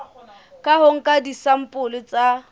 ka ho nka disampole tsa